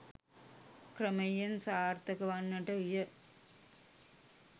ක්‍රමයෙන් සාර්ථක වන්නට විය.